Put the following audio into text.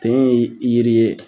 Ten ye yiri ye